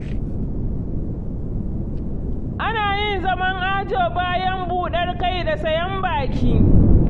Ana yin zaman ajo bayan buɗar kai da sayen baki.